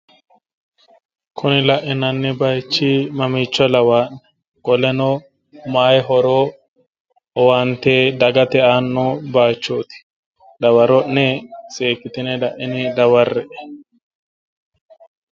Kuni lainanni bayiichi mamiicho lawaa'ne qoleno mayi horo dagate owaante aanno bayiichoti dawaro'ne seekkitine laine dawarre''e.